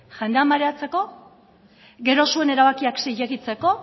jendea mareatzeko gero zuen erabakiak zilegitzeko